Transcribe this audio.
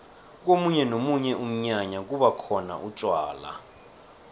komunye nomunye umnyanya kubakhona utjwala